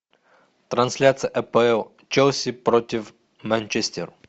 трансляция апл челси против манчестер